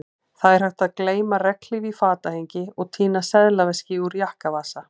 Það er hægt að gleyma regnhlíf í fatahengi og týna seðlaveski úr jakkavasa